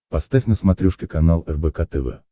поставь на смотрешке канал рбк тв